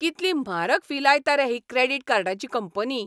कितली म्हारग फी लायता रे ही क्रेडिट कार्डाची कंपनी.